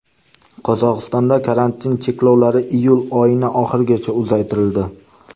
Qozog‘istonda karantin cheklovlari iyul oyining oxirigacha uzaytirildi .